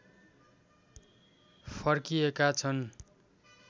फर्किएका छन्